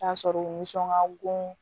Taa sɔrɔ u nisɔn ka bon